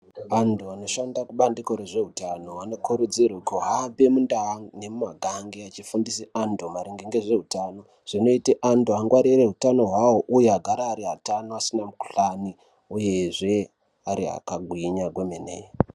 Anthu anoshande kubandiko rezveutano anokurudzirwa kuhambe mundau nemuma gange, echifundise anthu maringe nezve utano. Zvinoita anthu angwarire utano uye agare ari atano asina mukhuhlani, uyezve ari akagwinya kwemene.